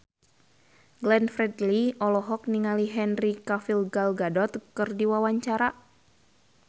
Glenn Fredly olohok ningali Henry Cavill Gal Gadot keur diwawancara